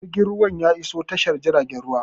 Yanzu jirgin ruwan ya iso tashar jiragen ruwa